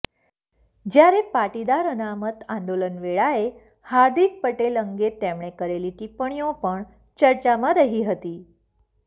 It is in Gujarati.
જ્યારે પાટીદાર અનામત આંદોલન વેળાએ હાર્દિક પટેલ અંગે તેમણે કરેલી ટિપ્પણીઓ પણ ચર્ચામાં રહી હતી